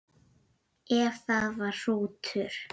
Ef það var hrútur.